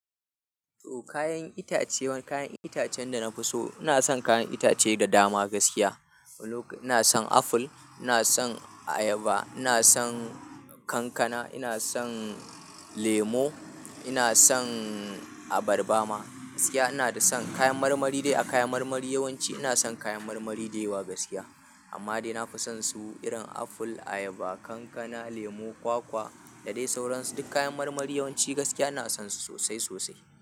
To kayan itace, kayan itacen da na fi so. Ina son kayan itace da dama gaskiya. Ina son aful, ina son ayaba, ina son kankana, ina son lemu, ina son abarba ma. Gaskiya ina da son kayan marmari dai. Kayan marmari yawanci ina san kayan marmari gaskiys amma dai na fi son su irin aful, ayaba, kankana, lemu, kwakwa da dai sauransu. Duk kayan marmari yawanci gaskiya ina son su sosai sosai.